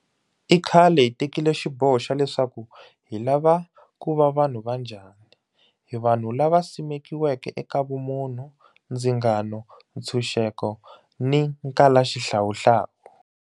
I khale hi tekile xiboho xa leswaku hi lava ku va vanhu va njhani. Hi vanhu lava simekiweke eka vumunhu, ndzingano, ntshuxeko ni nkalaxihlawuhlawu.